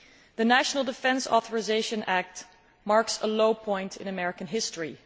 The National Defence Authorization Act marks a low point in American history.